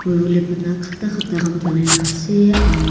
poibole bana khata khata kan banai na ase aro --